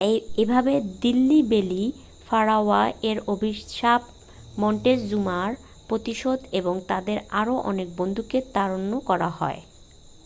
এভাবে Delhi belly pharaoh এর অভিশাপ মন্টেজুমার প্রতিশোধ এবং তাদের আরও অনেক বন্ধুকে তাড়ন করা হয়